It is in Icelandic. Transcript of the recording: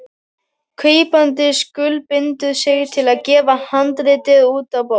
Kaupandi skuldbindur sig til að gefa handritið út á bók.